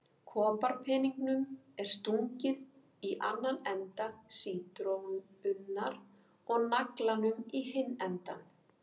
Koparpeningnum er stungið í annan enda sítrónunnar og naglanum í hinn endann.